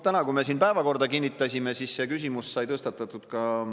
Täna, kui me siin päevakorda kinnitasime, sai see küsimus ka spiikri ees tõstatatud.